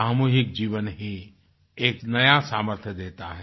सामूहिक जीवन ही एक नया सामर्थ्य देता है